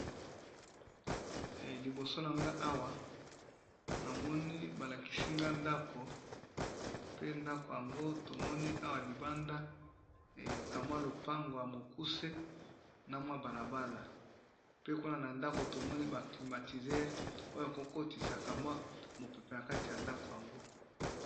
Liboso na nga awa namoni balakisi nga ndako pe ndako yango tomoni awa libanda ee ka mwa lopango ya mokuse na mwa bala bala, pe kuna na ndako tomoni mwa climatizere oyo eko kotisa kamwa mopepe na kati ya ndako yango.